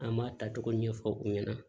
An b'a tacogo ɲɛfɔ u ɲɛna